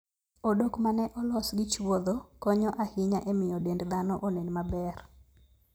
Odok ma ne olos gi chuodho konyo ahinya e miyo dend dhano onen maber.